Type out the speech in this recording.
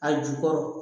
A jukɔrɔ